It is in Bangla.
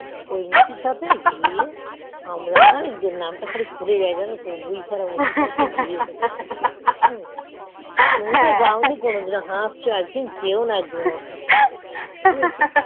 ওই মুছিস তে নাম তা শুধু ভুলে যাই জান্নত তুমি তো যায়নি কোনোদিন হাসছো একইদিন যেয়েন কোনোদিন একদিন যেওনা